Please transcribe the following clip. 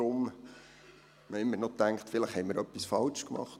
Deshalb dachten wir noch, wir hätten etwas falsch gemacht.